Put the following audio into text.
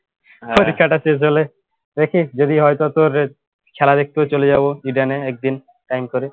পরীক্ষাটা শেষ হলে দেখি যদি হয় তো তোর রে খেলা দেখতেও চলে যাব ইডেনে একদিন time করে